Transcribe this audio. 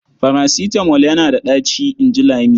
"Farasitamol yana da ɗaci", in ji Lami.